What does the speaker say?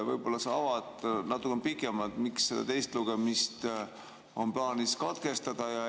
Võib-olla sa avad natukene pikemalt, miks see teine lugemine on plaanis katkestada?